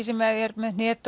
sem er með